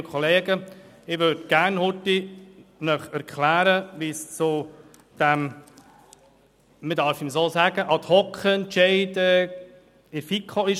Ich möchte Ihnen gerne kurz erklären, wie es zu diesem Ad-Hoc-Entscheid in der FiKo gekommen ist.